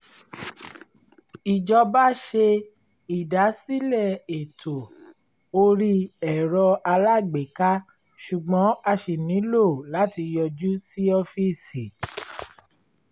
ìjọba ṣe ìdásílẹ̀ ètò orí ẹ̀rọ-alágbèéká ṣùgbọ́n a ṣì nílọ láti yọjú sí ọ́fíìsì